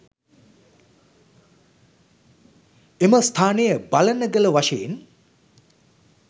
එම ස්ථානය බලනගල වශයෙන්